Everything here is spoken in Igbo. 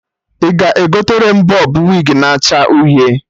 Ị ga-egotere m bọb wig na acha uhie?